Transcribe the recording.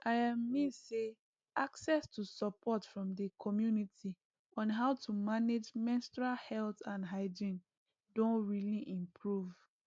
i um mean say access to support from the community on how to manage menstrual health and hygiene doh really improve